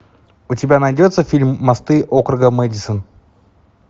у тебя найдется фильм мосты округа мэдисон